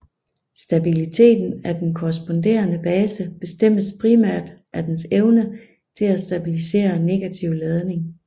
Stabiliteten af den korresponderende base bestemmes primært af dens evne til at stabilisere negativ ladning